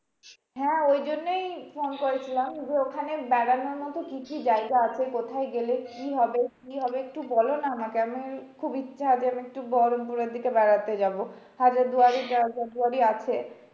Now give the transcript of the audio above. হ্যাঁ ওই জন্যই ফোন করেছিলাম যে, ওখানে বেড়ানোর মতো কি কি জায়গা আছে? কোথায় গেলে কি হবে? কি হবে একটু বলো না আমাকে? আমি খুব ইচ্ছা যে আমি একটু বহরমপুরের দিকে বেড়াতে যাবো। হাজারদুয়ারি টাজারদুয়ারি আছে।